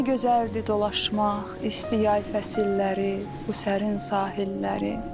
Nə gözəldir dolaşmaq isti yay fəsilləri, bu sərin sahilləri.